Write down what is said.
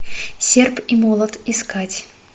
серп и молот искать